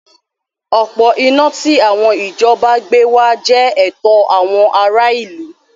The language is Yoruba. Òpó iná tí àwọn ìjọba gbé wá jẹ́ ẹ̀tọ́ àwọn ará ìlú.